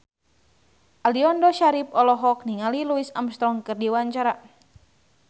Aliando Syarif olohok ningali Louis Armstrong keur diwawancara